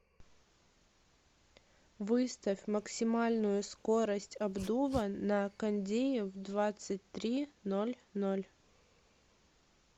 выставь максимальную скорость обдува на кондее в двадцать три ноль ноль